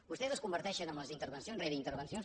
vostès es converteixen intervencions rere intervencions